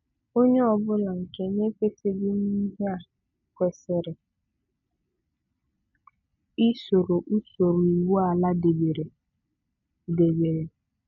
Ònye ọbụ̀la nke na-ekwètèghị na ihe a kwesìrì isòrò ùsọ̀rụ̀ iwu ala débèrè débèrè